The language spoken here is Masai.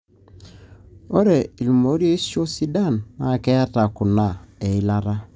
ore ilmorioshi sidan na keeta kuna; eilata.